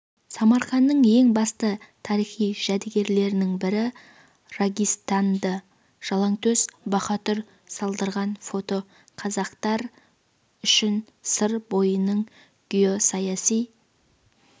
самарқанның ең басты тарихи жәдігерлерінің бірі рагистанды жалаңтөс баһадүр салдырған фото қазақтар үшін сыр бойының геосаяси